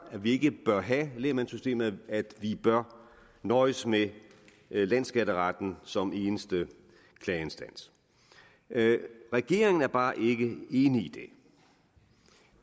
vi ikke bør have lægmandssystemet men at vi bør nøjes med landsskatteretten som eneste klageinstans regeringen er bare ikke enig